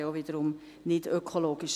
dies wäre wiederum nicht ökologisch.